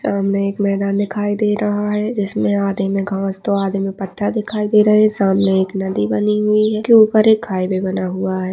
सामने एक मैदान दिखाई दे रहा है जिसमे आधे मे घास तो आधे मे पथ्थर दिखाई दे रहे है सामने एक नदी बनी हुई है उसके ऊपर एक हाइवै बना हुआ हैं।